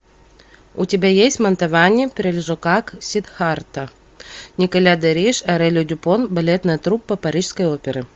у тебя есть мантовани прельжокак сиддхартха николя де риш орели дюпон балетная труппа парижской оперы